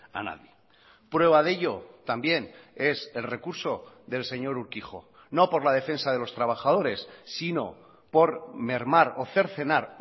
a nadie prueba de ello también es el recurso del señor urquijo no por la defensa de los trabajadores sino por mermar o cercenar